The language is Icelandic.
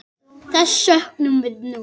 Þess söknum við nú.